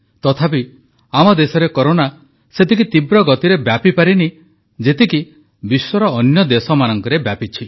ତଥାପି ଆମ ଦେଶରେ କରୋନା ସେତେ ତୀବ୍ର ଗତିରେ ବ୍ୟାପିପାରିନି ଯେତିକି ବିଶ୍ୱର ଅନ୍ୟ ଦେଶମାନଙ୍କରେ ବ୍ୟାପିଛି